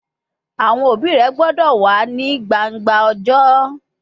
Awọn obi rẹ gbọdọ wa ni gbangba ọjọ!